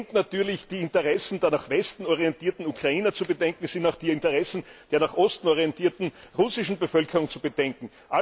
Es sind natürlich die Interessen der nach Westen orientierten Ukrainer zu bedenken, es sind auch die Interessen der nach Osten orientierten russischen Bevölkerung zu bedenken.